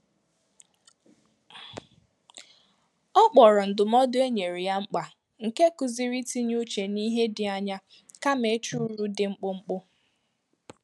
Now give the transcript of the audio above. Ọ kpọrọ ndụmọdụ e nyere ya mkpa nke kụziri i tinye uche n'ihe dị anya, kama ịchụ uru dị mkpụmkpụ.